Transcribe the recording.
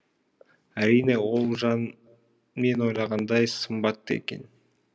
әрине ол жан мен ойлағандай сымбатты екен